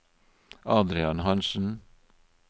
Adrian Hansen